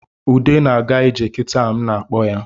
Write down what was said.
Ude na-aga ije kitaa m na-akpọ ya